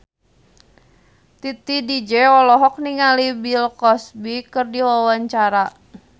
Titi DJ olohok ningali Bill Cosby keur diwawancara